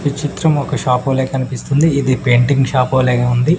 ఈ చిత్రం ఒక షాప్ వోలె కనిపిస్తుంది ఇది పెయింటింగ్ షాప్ వోలెగా ఉంది.